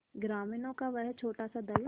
ग्रामीणों का वह छोटासा दल